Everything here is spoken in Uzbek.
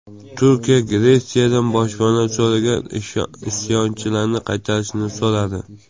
Turkiya Gretsiyadan boshpana so‘ragan isyonchilarni qaytarishni so‘radi.